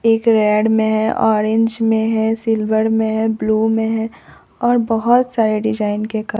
एक रेड में है ऑरेंज में है सिल्वर में है ब्लू में है और बोहोत सारे डिजाइन के कल--